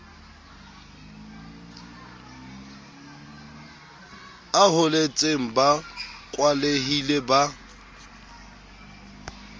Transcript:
a holetseng ba kwalehile ba